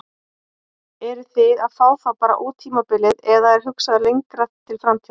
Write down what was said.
Eruð þið að fá þá bara út tímabilið eða er hugsað lengra til framtíðar?